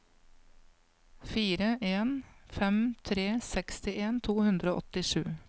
fire en fem tre sekstien to hundre og åttisju